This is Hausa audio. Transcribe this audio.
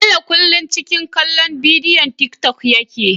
Bello kullun ciki kallon bidiwon tik tok yake